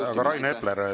Hea Rain Epler!